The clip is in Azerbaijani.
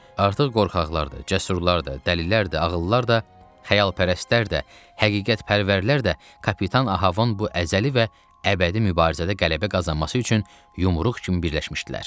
Artıq qorxaqlar da, cəsurlar da, dəlilər də, ağıllılar da, xəyalpərəstlər də, həqiqətpərvərlər də kapitan Ahabın bu əzəli və əbədi mübarizədə qələbə qazanması üçün yumruq kimi birləşmişdilər.